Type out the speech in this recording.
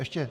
Ještě?